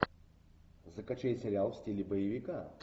закачай сериал в стиле боевика